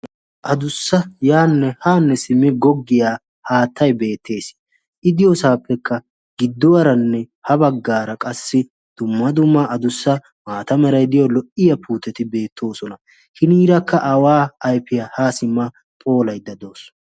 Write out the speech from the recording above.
Adussa yaanne haanne simmi goggiyaa haattai beettees idiyoosaappekka gidduwaaranne ha baggaara qassi dumma dumaa adussa maatamerai diyo lo"iya puuteti beettoosona. hiniirakka awaa ayfiyaa haa simma phoolaydda dawus.